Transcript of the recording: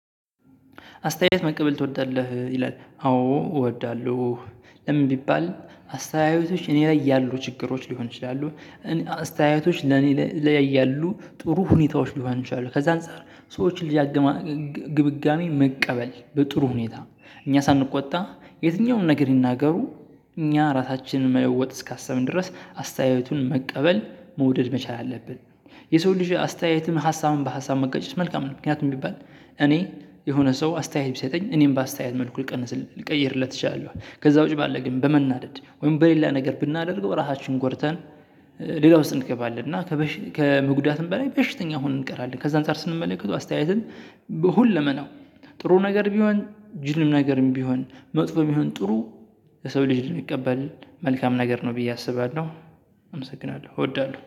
አስተያየት መቀበል ትወዳለህ ይላል አዎ እወዳለሁ። ለምን ቢባል አስተያየቶች እኔ ላይ ያሉ ችግሮች ሊሆን ይችላሉ። አስተያየቶች ለኔ ላይ ያሉ ጥሩ ሁኔታዎች ሊሆን ይችላሉ። ከዛ አንፃር የሰዎችን ልጅ ግምጋሜ መቀበል በጥሩ ሁኔታ እኛ ሳንቆጣ የትኛውንም ነገር ይናገሩ። እኛ ራሳችንን መለወጥ እስካሰብን ድረስ አስተያየቱን መቀበል መውደድ መቻል አለብን። የሰው ልጅ አስተያየትም ሀሳብም በሀሳብ መጋጨት መልካም ነው። ምክንያቱም ቢባል እኔ የሆነ ሰው አስተያየት ቢሰጠኝ እኔም በአስተያየት መልኩ ልቀይርለት እችላለሁ። ከዛ ውጪ ባለ ግን በመናደድ ወይም በሌላ ነገር ብናደርገው ራሳችንን ጎድተን። ሌላ ውስጥ እንገባለን እና ከመጉዳትም በላይ በሽተኛ ሁነን እንቀራለን። ከዛ አንፃር ስንመለከተው አስተያየትን ሁሉ መናው ጥሩ ነገር ቢሆን ጅልም ነገርም ቢሆን መጥፎም ቢሆን ጥሩ። የሰው ልጅ ልንቀበል መልካም ነገር ነው ብዬ አስባለሁ። አመሰግናለሁ እወዳለሁ